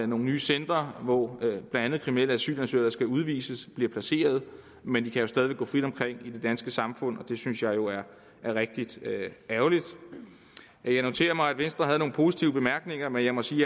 nogle nye centre hvor blandt andet kriminelle asylansøgere der skal udvises bliver placeret men de kan stadig væk gå frit omkring i det danske samfund og det synes jeg jo er rigtig ærgerligt jeg noterer mig at venstre havde nogle positive bemærkninger men jeg må sige